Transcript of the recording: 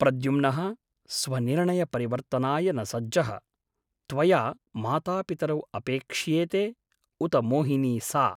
प्रद्युम्नः स्वनिर्णयपरिवर्तनाय न सज्जः । त्वया मातापितरौ अपेक्ष्येते , उत मोहिनी सा ?